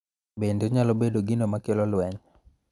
Bende onyalo bedo gino ma kelo lweny.